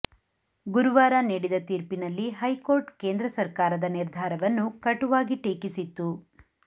ಗುರುವಾರ ನೀಡಿದ ತೀರ್ಪಿನಲ್ಲಿ ಹೈಕೋರ್ಟ್ ಕೇಂದ್ರ ಸರ್ಕಾರದ ನಿರ್ಧಾರವನ್ನು ಕಟುವಾಗಿ ಟೀಕಿಸಿತ್ತು